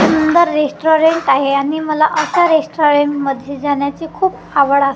सुंदर रेस्टॉरंट आहे आणि मला असं रेस्टॉरंट मध्ये जाण्याची खूप आवड आहे.